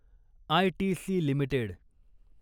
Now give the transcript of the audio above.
ITC limited